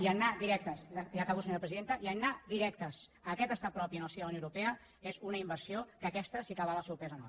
i anar directes ja acabo senyora presidenta i anar directes a aquest estat propi en el si de la unió europea és una inversió que aquesta sí que val el seu pes en or